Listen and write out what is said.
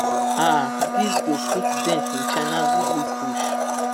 um dis go put dent in china goodwill push